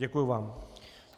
Děkuji vám.